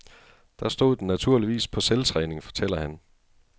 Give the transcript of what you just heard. Der stod den naturligvis på selvtræning, fortæller han.